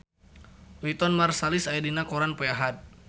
Wynton Marsalis aya dina koran poe Ahad